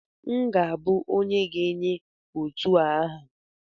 M ga-abụ onye ga-enye otu a aha